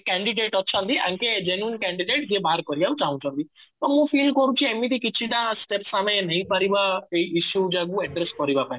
candidate ଅଛନ୍ତି ୟା ଙ୍କେ genuine candidate ଯିଏ କରିବାକୁ ଚାଁହୁଛନ୍ତି ତ ମୁଁ feel କରୁଛି ଏମିତି କିଛି ଟା steps ଆମେ ନେଇପାରିବା ଏଇ issue ଯୋଗୁ address କରିବା ପାଇଁ